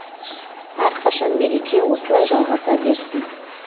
әрқашан мереке осылай жалғаса берсін